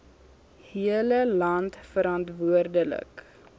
hele land verantwoordelik